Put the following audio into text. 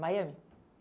Miami?